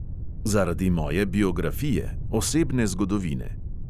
Zaradi moje biografije, osebne zgodovine.